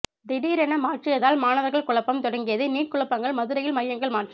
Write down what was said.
திடீரென மாற்றியதால் மாணவர்கள் குழப்பம் தொடங்கியது நீட் குழப்பங்கள் மதுரையில் மையங்கள் மாற்றம்